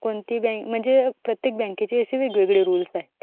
कोणती बँक प्रत्येक बँकेची वेगवेगळे रुल्स आहेत.